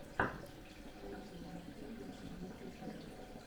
найти мультфильмы семейки зэд